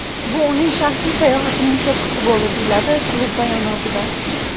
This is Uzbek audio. Bu uning shaxsiy sayohatining cho‘qqisi bo‘ldi”, deyiladi klub bayonotida.